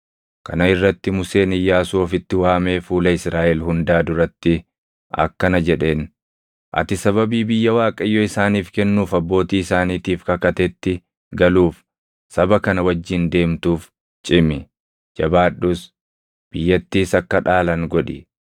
Kana irratti Museen Iyyaasuu ofitti waamee fuula Israaʼel hundaa duratti akkana jedheen; “Ati sababii biyya Waaqayyo isaaniif kennuuf abbootii isaaniitiif kakatetti galuuf saba kana wajjin deemtuuf cimi; jabaadhus; biyyattiis akka dhaalan godhi.